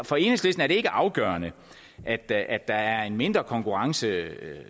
for enhedslisten er det ikke afgørende at der at der er en mindre konkurrence